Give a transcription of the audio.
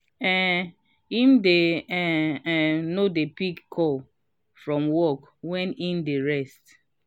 um him dey um um no dey pick calls from work wen im dey rest.